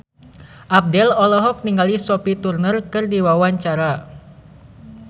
Abdel olohok ningali Sophie Turner keur diwawancara